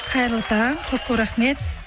қайырлы таң көп көп рахмет